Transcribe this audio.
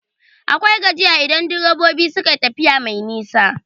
Akwai gajiya idan direbobi suka tafiya mai nisa.